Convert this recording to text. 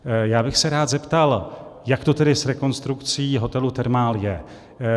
Já bych se rád zeptal, jak to tedy s rekonstrukcí hotelu Thermal je.